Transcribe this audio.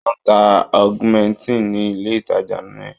Wọ́n ń ta augmentin ní ilé-ìtàjà yẹn.